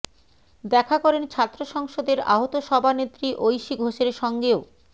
দেখা করেন ছাত্র সংসদের আহত সভানেত্রী ঐশী ঘোষের সঙ্গেও